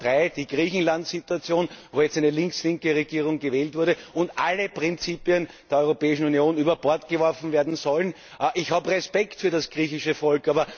Punkt Nummer 3 Die Griechenlandsituation, wo jetzt eine linkslinke Regierung gewählt wurde und alle Prinzipien der Europäischen Union über Bord geworfen werden sollen. Ich habe Respekt für das griechische Volk.